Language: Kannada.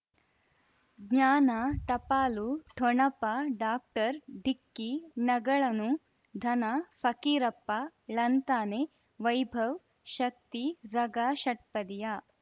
ಜ್ಞಾನ ಟಪಾಲು ಠೊಣಪ ಡಾಕ್ಟರ್ ಢಿಕ್ಕಿ ಣಗಳನು ಧನ ಫಕೀರಪ್ಪ ಳಂತಾನೆ ವೈಭವ್ ಶಕ್ತಿ ಝಗಾ ಷಟ್ಪದಿಯ